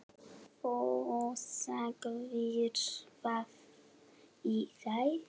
Þú sagðir það í gær.